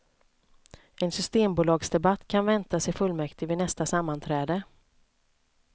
En systembolagsdebatt kan väntas i fullmäktige vid nästa sammanträde.